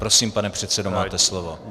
Prosím, pane předsedo, máte slovo.